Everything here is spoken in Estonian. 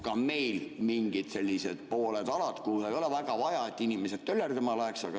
Ka meil on mingid sellised alad, kuhu ei ole väga vaja, et inimesed töllerdama läheks.